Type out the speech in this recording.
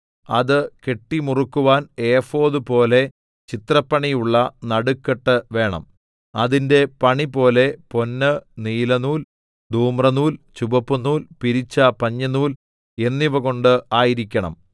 അത് കെട്ടിമുറുക്കുവാൻ ഏഫോദ് പോലെ ചിത്രപ്പണിയുള്ള നടുക്കെട്ട് വേണം അതിന്റെ പണിപോലെ പൊന്ന് നീലനൂൽ ധൂമ്രനൂൽ ചുവപ്പുനൂൽ പിരിച്ച പഞ്ഞിനൂൽ എന്നിവകൊണ്ട് ആയിരിക്കണം